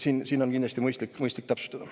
Kindlasti on mõistlik seda täpsustada.